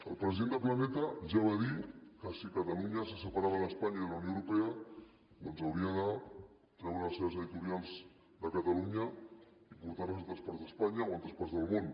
el president de planeta ja va dir que si catalunya se separava d’espanya i de la unió europea doncs hauria de treure les seves editorials de catalunya i portar les a altres parts d’espanya o altres parts del món